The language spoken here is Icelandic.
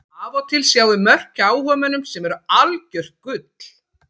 Af og til sjáum við mörk hjá áhugamönnum sem eru algjört gull.